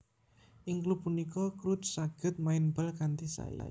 Ing klub punika Crouch saged main bal kanthi sae